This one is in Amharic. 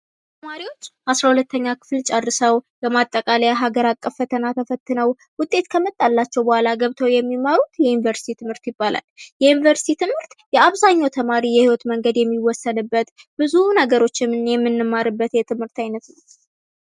ተማሪዎች አስራሁለተኛ ክፍል ጨርሰው፥ የማጠቃለያ ሀገር አቀፍ ፈተና ተፈትነው፥ ውጤት ከመጣላቸዉ በኋላ ገብተው የሚማሩት የዩኒቨርሲቲ ትምህርት ይባላል። የዩኒቨርሲቲ ትምህርት የአብዛኛው የህይወት መንገድ የሚወሰንበት፥ ብዙ ነገሮች የምንማርበት የትምህርት ዓይነት ነው።